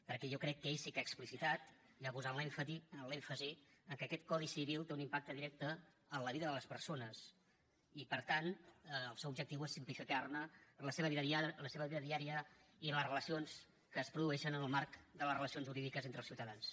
perquè jo crec que ell sí que ha explicitat i ha posat l’èmfasi que aquest codi civil té un impacte directe en la vida de les persones i per tant el seu objectiu és simplificar la seva vida diària i les relacions que es produeixen en el marc de les relacions jurídiques entre els ciutadans